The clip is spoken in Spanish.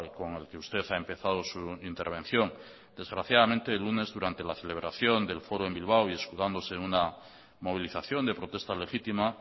con el que usted ha empezado su intervención desgraciadamente el lunes durante la celebración del foro en bilbao y escudándose en una movilización de protesta legítima